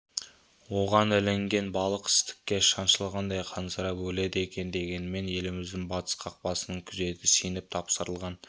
оған ілінген балық істікке шаншылғандай қансырап өледі екен дегенмен еліміздің батыс қақпасының күзеті сеніп тапсырылған